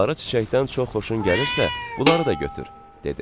Sarı çiçəkdən çox xoşun gəlirsə, bunları da götür, dedi.